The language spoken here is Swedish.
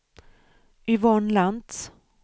Yvonne Lantz